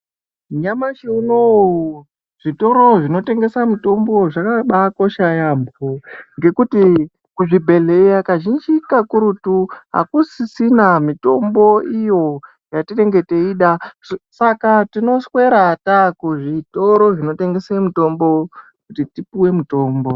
Nyamashi unoo zvitoro zvinotengesa mitombo zvakabaakosha yaambo ngekuti kuzvibhehleya kazhinji kakurutu hakusisina mitombo iyo yatinenge teida. Saka tinoswera taakuzvitoro zvinotengese mutombo kuti tipuwe mutombo.